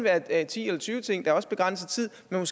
at være ti eller tyve ting har også begrænset tid men